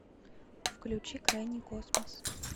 включи крайний космос